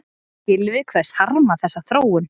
Gylfi kveðst harma þessa þróun